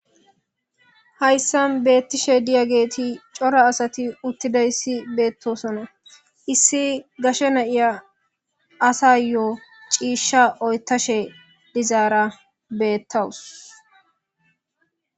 hayssa beettishe diya geeti cora asati uttida issi beettosona issi gashe na7iya asa yo7o ciishsha oytashe dizaara beettawus